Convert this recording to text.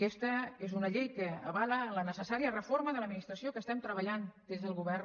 aquesta és una llei que avala la necessària reforma de l’administració que estem treballant des del govern